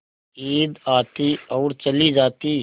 ईद आती और चली जाती